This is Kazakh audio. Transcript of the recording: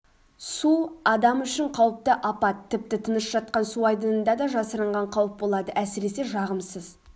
су адам үшін қауіпті апат тіпті тыныш жатқан су айдынында да жасырынған қауіп болады әсіресе жағымсыз